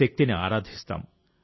శక్తిని ఆరాధిస్తాం